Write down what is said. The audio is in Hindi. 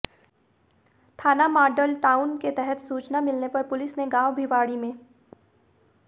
थाना माडल टाउन के तहत सूचना मिलने पर पुलिस ने गांव भिवाड़ी में